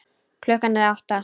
Klukkan er átta.